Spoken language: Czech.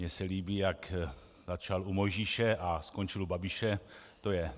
Mně se líbí, jak začal u Mojžíše a skončil u Babiše.